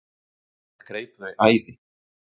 Það greip þau æði.